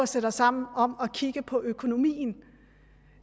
sætte os sammen om at kigge på økonomien